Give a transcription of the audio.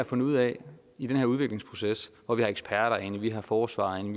fundet ud af i den her udviklingsproces hvor vi har eksperter inde vi har forsvaret inde